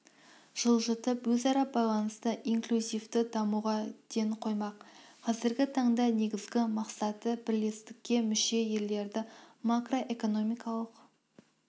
жылжытып өзара байланысты инклюзивті дамуға ден қоймақ қазіргі таңда негізгі мақсаты бірлестікке мүше елдерді макроэкономикалық